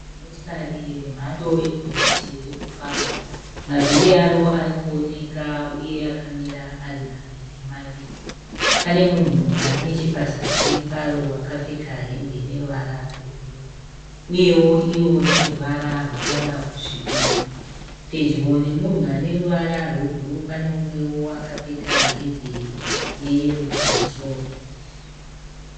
Zimotikari remhando regonyeti riri kufamba. Mavhiri aro ari kuoneka uye akamira ari maviri maviri. Pane munhu ari nechepasazi paro akapfeka hembe ine ruvara rwebhuruu. Uyewo iro rine ruvara rwakada kusvibira. Pedyo nemunhu ane ruvara rwebhuruu pane umwewo akapfeka hembe yeyero kumusoro.